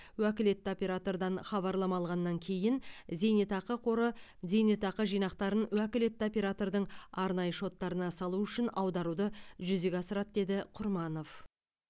уәкілетті оператордан хабарлама алғаннан кейін зейнетақы қоры зейнетақы жинақтарын уәкілетті оператордың арнайы шоттарына салу үшін аударуды жүзеге асырады деді құрманов